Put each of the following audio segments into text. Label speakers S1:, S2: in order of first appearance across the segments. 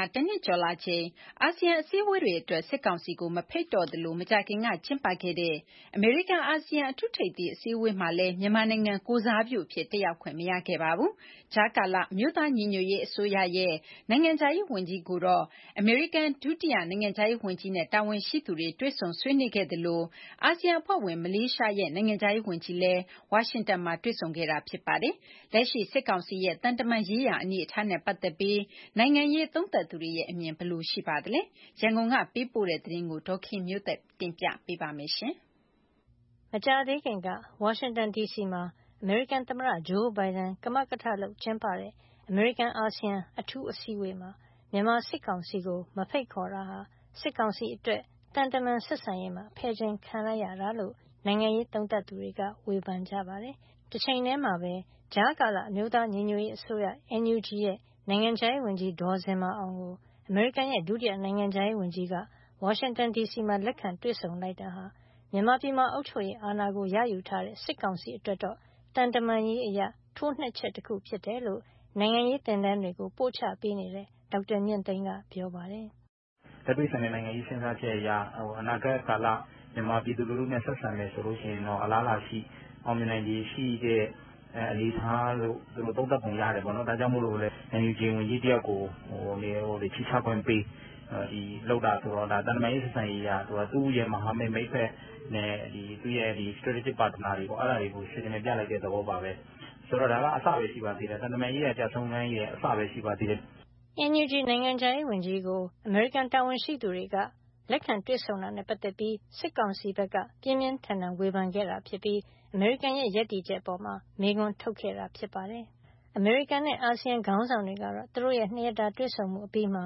S1: ာ တနှစ်ကျော်လာချိန်မှာ အာဆီယံအစည်းဝေးတွေအတွက် စစ်ကောင်စီကိုမဖိတ်ကြားတော့သလို မကြာခင်က ကျင်းပခဲ့တဲ့ အမေရိကန်- အာဆီယံ အထူးအစည်းဝေးမှာလည်း မြန်မာနိုင်ငံကိုယ်စားပြုအဖြစ် တက်ရောက်ခွင့်မရခဲ့ပါဘူး။ ကြားကာလ အမျိုးသားညီညွတ်ရေး အစိုးရ NUG ရဲ့ နိုင်ငံခြားရေးဝန်ကြီးကိုတော့ အမေရိကန် ဒုနိုင်ငံခြားရေးဝန်ကြီးနဲ့ တာဝန်ရှိသူတွေက တွေ့ဆုံဆွေးနွေးခဲ့သလို အာဆီယံအဖွဲ့ဝင် မလေးရှားနိုင်ငံရဲ့ နိုင်ငံခြားရေးဝန်ကြီးကလည်း ဝါရှင်တန်မှာပဲ တွေ့ဆုံခဲ့တာ ဖြစ်ပါတယ်။ လက်ရှိ စစ်ကောင်စီရဲ့ သံတမန်ရေးရာ အနေထားနဲ့ပတ်သက်ပြီး နိုင်ငံရေးသုံးသပ်သူတွေရဲ့ အမြင်တွေကဘယ်လိုရှိပါသလဲ။ ရန်ကုန်က ပေးပို့တဲ့ သတင်းကို ဒေါ်ခင်မျိုးသက် ကပြောပြပေးမှာပါ။ မေလ ၁၂ - ၁၃ ရက်တွေမှာ ဝါရှင်တန်ဒီစီမှာ သမ္မတဂျိုးဘိုင်ဒန် ကမကထ ပြု့လုပ်ကျင်းပတဲ့ အမေရိကန်- အာဆီယံ အထူးအစည်းအဝေးမှာ မြန်မာစစ်ကောင်စီကို မဖိတ်ခေါ်တာဟာ စစ်ကောင်စီအတွက် သံတမန်ဆက်ဆံရေးမှာ ဖယ်ကျဉ်ခံရလိုက်ရတာလို့ နိုင်ငံရေးသုံးသပ်သူတွေက ဝေဖန်ကြပါတယ်။ တချိန်ထည်းမှာပဲ ကြားကာလ အမျိုးသားညီညွတ်ရေးအစိုးရ NUG ရဲ့ နိုင်ငံခြားရေးဝန်ကြီး ဒေါ်ဇင်မာအောင်ကို အမေရိကန်ရဲ့ ဒုတိယနိုင်ငံခြားရေးဝန်ကြီးက ဝါရှင်တန်ဒီစီမှာ လက်ခံတွေဆုံလိုက်တာဟာ မြန်မာပြည်မှာ အုပ်ချုပ်ရေး အဏာကို ရယူထားတဲ့ စစ်ကောင်စီအတွက်တော့ သံတမန်ရေးအရ ထိုးနှက်ချက်တခုဖြစ်တယ်လို့ နိုင်ငံရေး သင်တန်းတွေကို ပို့ချပေးနေတဲ့ ဒေါက်တာမြင့်သိန်းကပြောပါတယ်
S2: ။ " လက်တွေ့ဆန်တဲ့ နိုင်ငံရေး စဉ်းစားချက်အရ အနာဂတ်ကာလ မြန်မာပြည်သူလူထုနဲ့ ဆက်ဆံမယ်ဆိုရင် အလားအလာရှိ၊ အောင်မြင်နိုင်ခြေရှိတဲ့ အနေအထားလို့ သူတို့သုံးသပ်ပုံ ရတယ်ပေါ့နော်။ ဒါကြောင့်မို့လည်း NUG ဝန်ကြီးတယောက်ကို ခြေချခွင့်ပေး လုပ်တာဆိုတော့ သံတမန်ရေး ဆက်ဆံရေးအရ သူ့ရဲ့မဟာမိတ် မိတ်ဖက် သူ့ရဲ့ stratrgic partner တွေကို signal ပြလိုက်တဲ့သဘောပါပဲ။ ဆိုတော့ ဒါက သံတမန်ရေးရာ ကျရှုံးခန်းရဲ့အစပဲ ရှိပါသေးတယ်
S1: ။" NUG နိုင်ငံခြားရေးဝန်ကြီးကို အမေရိကန် တာဝန်ရှိသူတွေက တွေ့ဆုံဆွေးနွေးခဲ့တဲ့အပေါ် စစ်ကောင်စီဘက်က ပြင်းပြင်းထန်ထန် ဝေဖန်ခဲ့တာဖြစ်ပြီး အမေရိကန်ရဲ့ ရပ်တည်ချက်အပေါ်မှာပါ မေးခွန်းထုတ်ခဲ့တာဖြစ်ပါတယ်။ အမေရိကန်နဲ့ အာဆီယံခေါင်းဆောင်တွေကတော့ သူတို့ရဲ့ ၂ရက်တာ တွေ့ဆုံမှုအပြီးမှာ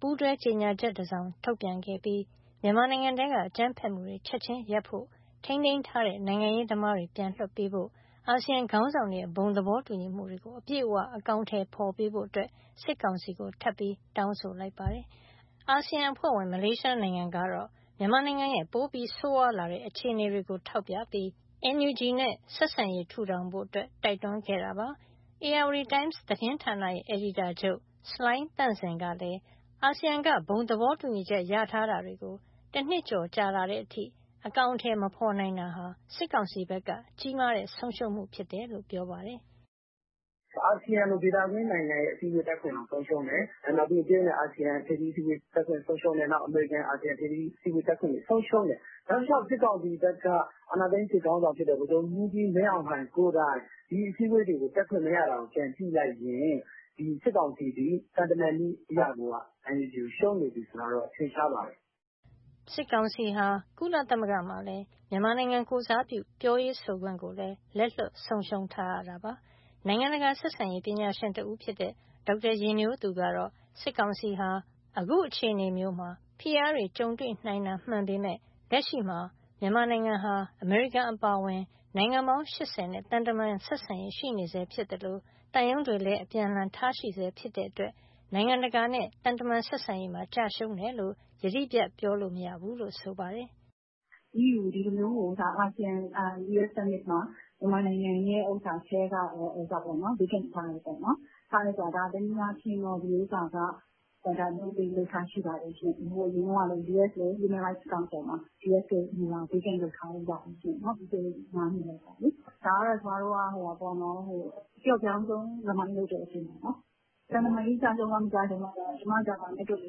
S1: ပူးတွဲကြေညာချက်တစောင် ထုတ်ပြန်ခဲ့ပြီး မြန်မာနိုင်ငံထဲက အကြမ်းဖက်မှုတွေ ချက်ချင်းရပ်ဖို့၊ ထိန်းသိမ်းထားတဲ့ နိုင်ငံရေးသမားတွေကို ပြန်လွှတ်ပေးဖို့၊ အာဆီယံ ခေါင်းဆောင်တွေရဲ့ ဘုံသဘောတူညီမှုတွေကို အပြည့်အဝ အကောင်အထည်ဖော်ပေးဖို့ စစ်ကောင်စီကို ထပ်ပြီး တောင်းဆိုလိုက်ပါတယ်။ အာဆီယံအဖွဲ့ဝင် မလေးရှားနိုင်ငံကတော့ မြန်မာနိုင်ငံရဲ့ ပိုပြီးဆိုးရွားလာတဲ့ အခြေအနေတွေကို ထောက်ပြပြီး ကြားကာလ အမျိုးသားညီညွတ်ရေးအစိုးရ NUGနဲ့ ဆက်ဆံရေး ထူထောင်ဖို့ တိုက်တွန်းခဲ့တာပါ။ ဧရာဝတီတိုင်းမ် သတင်းဌာနရဲ့ အယ်ဒီတာချုပ် ဆလိုင်းသန့်စင်ကလည်း အာဆီယံက ဘုံသဘောတူညီထားတဲ့ အရာတွေကို တနှစ်ကျော်လာတဲ့အထိ အကောင်အထည် မဖော်နိုင်တာဟာ စစ်ကောင်စီဘက်က ကြီမားတဲ့ဆုံးရှုံးမှု ဖြစ်ကြောင်းပြောပါတယ်။
S3: " အာဆီယံလို ဒေသတွင်းနိုင်ငံရဲ့ အစည်းဝေးတက်ခွင့်တောင် ဆုံးရှုံးတယ်၊ နောက်ပြီး တရုတ်နဲ့ အာဆီယံ ထိပ်သီးအစည်းအဝေး တက်ခွင့်ဆုံးရှုံးတယ်။ နောက်ပြီး အမေရိကန်- အာဆီယံ ထိပ်သီး အစည်းအဝေး တက်ခွင့်တွေ ဆုံးရှုံးတယ်။ တောက်လျှောက် စစ်ကောင်စီဘက်က အာဏာသိမ်း စစ်ခေါင်းဆောင်ဖြစ်တဲ့ ဗိုလ်ချုပ်မှူးကြီး မင်းအောင်လှိုင်ကိုယ်တိုင် ဒီအစည်းအဝေးတွေကို တက်ခွင့်မရတာကို ပြန်ကြည့်လိုက်ရင် စစ်ကောင်စီသည် သံတမန်ရေးအရကိုက NUG ကိုရှုံးနေပြီဆိုတာ ထင်ရှားပါတယ်။
S1: " စစ်ကောင်စီဟာ ကုလသမဂ္ဂမှာလည်း မြန်မာနိုင်ငံကိုယ်စားပြုတဲ့ ပြောရေးဆိုခွင့်ကိုလည်း လက်လွှတ်ဆုံးရှုံး ထားရပါတယ်။ နိုင်ငံတကာဆက်ဆံရေး ပညာရှင်တဦးဖြစ်တဲ့ ဒေါက်တာယဉ်မျိုးသူ ကတော့ စစ်ကောင်စီဟာ အခုအခြေအနေမျိုးမှာ ဖိအားတွေ ကြုံတွေ့နိုင်တာမှန်ပေမဲ့ လက်ရှိမှာ မြန်မာနိုင်ငံဟာ အမေရိကန်အပါအဝင် နိုင်ငံပေါင်း ၈၀ နဲ့ သံတမန်ဆက်ဆံရေး ရှိနေဆဲဖြစ်သလို သံရုံးတွေလည်း အပြန်အလှန်ထားရှိထားဆဲ ဖြစ်တဲ့အတွက် နိုင်ငံတကာနဲ့ သံတမန်ဆက်ဆံရေးမှာ ကျရှုံးတယ်လို့ ယတိပြတ်ပြောလို့မရဘူးလို့ ဆိုပါတယ်။ " ဒီ
S3: လိုမျိုး အာစီယံ- ယူအက်စ် summit မှာ မြန်မာနိုင်ငံကို vacant ( နေရာလွတ်) ထားတယ်ပေါ့နော်၊ ဒါတနည်းအားဖြင့်တော့ ဒီဥစ္စာက တနည်းအားဖြင့် လုပ်လေ့လုပ်ထ ရှိပါတယ်ရှင့်။ ဟိုအရင်က US လည်း Human Rights Council မှာ US နေရာကို vacant လုပ်ထားတာရှိတယ် ပြီးခဲ့တဲ့ငါးနှစ်ကပေါ့။ ဒါကတော့ အပျော့ပျောင်းဆုံး remind ( သတိပေး) တဲ့အဆင့်ပေါ့နော်။ သံတမန်ရေးအရ ကျရှုံးလား မကျရှုံးလားဆိုတာ ကျမအတွက်ကတော့ ဘာနဲ့တွက်လဲ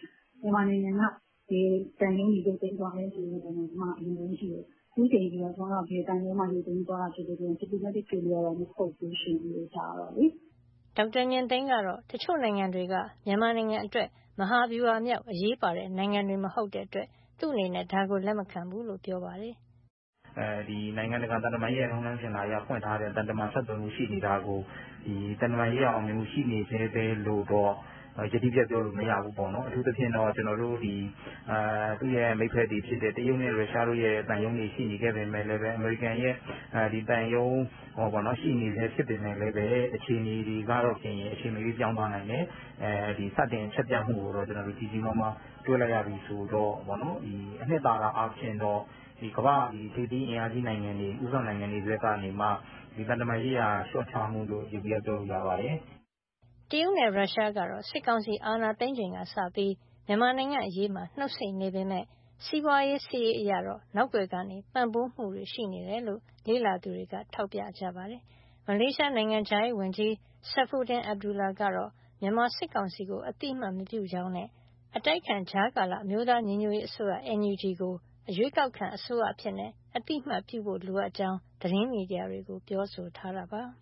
S3: ဆိုရင် မြန်မာနိုင်ငံက ဘယ်သံရုံးတွေ ရုတ်သိမ်းသွားလဲဆိုတာနဲ့ အရင်ဆုံးကြည့်တယ်။ အခုအချိန်အထိတော့ ဘယ်သံရုံးမှ ရုတ်သိမ်းတာ မရှိတဲ့အတွက် diplomatic failure မဟုတ်ဘူးရှင့်။" ဒေါက်
S1: တာမြင့်သိန်းကတော့ တချို့နိုင်ငံတွေက မြန်မာနိုင်ငံအတွက် မဟာဗျူဟာမြောက် အရေးပါတဲ့ နိုင်ငံတွေမဟုတ်လို့ သူအနေနဲ့ ဒါကိုလက်မခံကြောင်း ပြောပါတယ်။
S2: " နိုင်ငံတကာရေး ထုံးတမ်းစဉ်လာအရဖွင့်ထားတဲ့ သံတမန်ဆက်သွယ်မှု ရှိနေတာကို သံတမန်ရေးရာအောင်မြင်မှု ရှိနေဆဲပဲလို့တော့ ယတိပြတ်ပြောလို့မရဘူး။ အထူးသဖြင့် သူ့ရဲ့မိတ်ဖက်တွေဖြစ်တဲ့ တရုတ်နဲ့ ရုရှားတို့ရဲ့ သံရုံးတွေ၊ အမေရိကန်သံရုံးတွေ ရှိနေဆဲ ဖြစ်ပေမဲ့လည်း အခြေအနေတွေက အချိန်မရွေးပြောင်းသွားနိုင်တယ်။ စတင်အချက်ပြမှုကိုတော့ ကြီးကြီးမားမား တွေ့လိုက်ရပြီဆိုတော့ အနှစ်သာရအားဖြင့်တော့ ကမ္ဘာ့ထိပ်သီး အင်အားကြီးနိုင်ငံတွေ ဦးဆောင်နိုင်ငံတွေဘက်ကနေ သံတမန်ရေးရာ လျှော့ချမှုလို့ ယျေဘူယျပြောလို့ရပါတယ်။
S1: " တရုတ်နဲ့ ရုရှားကတော့ စစ်ကောင်စီ အာဏာသိမ်းချိန်ကစလို့ မြန်မာ့နိုင်ငံရေးမှာ နှုတ်ဆိတ်နေပေမဲ့ စီးပွားရေး စစ်ရေးအရတော့ နောက်ကွယ်က ပံ့ပိုးမှုတွေရှိနေတယ်ဆိုတာ လေ့လာသူတွေက ထောက်ပြကြပါတယ်။ မလေးရှား နိုင်ငံခြားရေးဝန်ကြီး Saifuddin Abdullah ကတော့ မြန်မာစစ်ကောင်စီကို အသိအမှတ်မပြုတဲ့အကြောင်းနဲ့ အတိုက်အခံ ကြားကာလ အမျိုးသားညီညွတ်ရေးအစိုးရ NUG ကို ရွေးကောက်ခံအစိုးရအဖြစ် အသိအမှတ်ပြုဖို့လိုတဲ့အကြောင်း သတင်းမီဒီယာကို ပြောဆိုထားတာပါ။